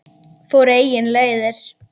Fór eigin leiðir.